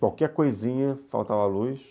Qualquer coisinha, faltava luz.